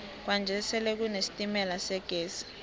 kwanje sele kune sitemala segezi